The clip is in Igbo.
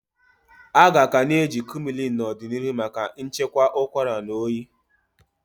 Aga ka na eji Kumullin n'odinihu maka chịkwaa ụkwara na oyi.